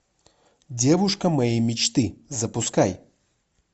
девушка моей мечты запускай